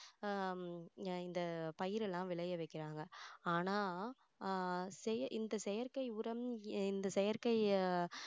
ஆஹ் இந்த பயிரை எல்லாம் விளைய வைக்கிறாங்க ஆனா அஹ் செய~ இந்த செயற்கை உரம் இந்த செயற்கை அஹ்